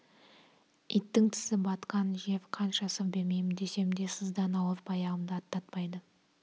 иттің тісі батқан жер қанша сыр бермеймін десем де сыздап ауырып аяғымды аттатпайды